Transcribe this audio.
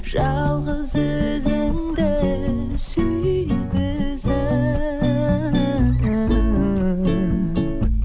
жалғыз өзіңді сүйгізіп